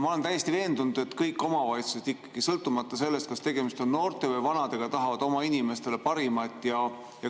Ma olen täiesti veendunud, et kõik omavalitsused tahavad oma inimestele, sõltumata sellest, kas tegemist on noorte või vanadega, parimat.